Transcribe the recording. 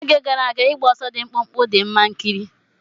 N'oge gara aga, ịgba ọsọ dị mkpụmkpụ dị mma ikiri.